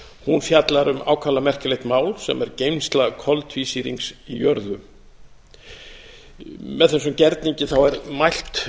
hún fjallar um ákaflega merkilegt mál sem er geymsla koltvísýrings í jörðu með þessum gerningi er mælt